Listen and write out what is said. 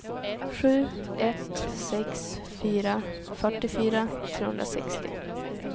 sju ett sex fyra fyrtiofyra trehundrasextio